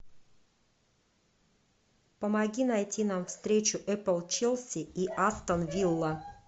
помоги найти нам встречу эпл челси и астон вилла